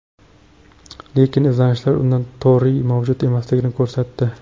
Lekin izlanishlar unda toriy mavjud emasligini ko‘rsatdi.